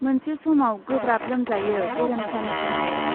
मोनसे समाव गोब्राब लोमजायो गेरेमसानि बिमाया।